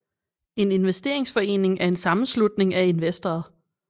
En investeringsforening er en sammenslutning af investorer